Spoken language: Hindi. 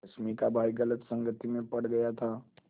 रश्मि का भाई गलत संगति में पड़ गया था